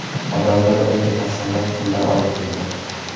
Odamlar unga tasmalar, pullar olib keldi.